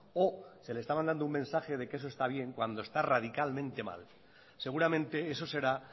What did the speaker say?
o se les estaba dando un mensaje de que eso está bien cuando está radicalmente mal seguramente eso será